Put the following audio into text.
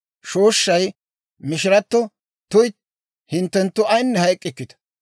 Shooshshay mishiratto, «Tuytti, hinttenttu ayine hayk'k'ikitta;